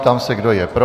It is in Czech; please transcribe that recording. Ptám se, kdo je pro.